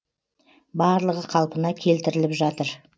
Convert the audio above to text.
барлығы қалпына келтіріліп жатыр